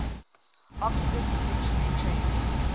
oxford dictionary changed